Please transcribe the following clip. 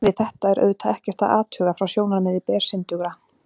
Við þetta er auðvitað ekkert að athuga frá sjónarmiði bersyndugra.